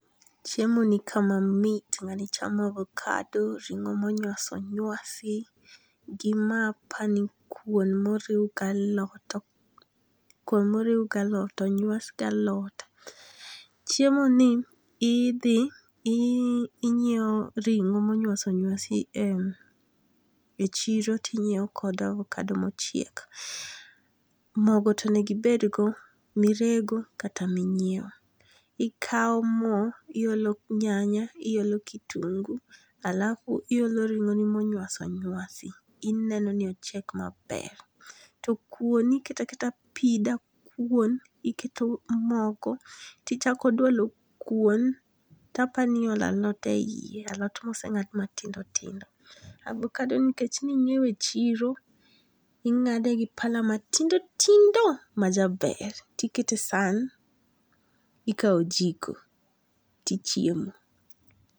Chiemo nikae mamit nga'ni chamo avocado, rong'o ma onyas onywasi gi mae apani ni kuon moriw gi alot kuon moriw gi alot onywas gi alot, chiemoni ithi inyiewo ringo monyuas onyuasi e chiro tinyiewo kod avokado mochiek, mogo tonego ibedgo mirego kata minyiewo, ikawo mo ti olo nyanya iolo kitingu alafu iolo ringo'ni monywas onyasi ineni ni ochiek maber, to kuon iketo aketa pi dakuon iketo mogo tichako dwalo kuon to apani iolo alot e hiye alot mosengad matindo tindo, abokadoni nikech ninyiewe chiro inga'de gi pala ma tindo tindo majaber tikete e sahan ikau jiko tichiemo